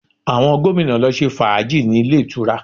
Àwọn gómìnà lọ ṣe fàájì ní ilé ìtura